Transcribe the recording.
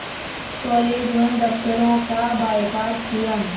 college व दफ़्तरों का बायकॉट किया